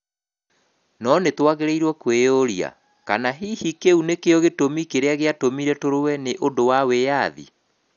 No nĩ twagĩrĩirũo kwĩyũria kana hihi kĩu nĩkĩo gĩtũmi kĩrĩa gĩatũmire tũrũe nĩ ũndũ wa wĩyathi?